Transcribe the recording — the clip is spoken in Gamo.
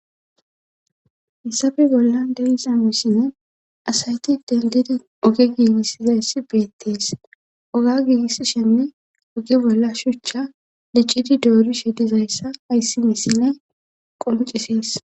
Hassape bolla delizamisinne asayti dendidi oge giigisizayssi beettees oga giigisshenne oge bolla shuchcha licidi doori shedizayssa ayssi nisinne qoncisees.